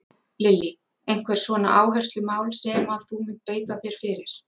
Lillý: Einhver svona áherslumál sem að þú munt beita þér fyrir?